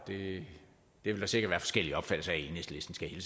det vil der sikkert være forskellige opfattelser af i enhedslisten skal jeg